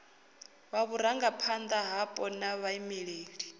wa vhurangaphanda hapo na vhaimeleli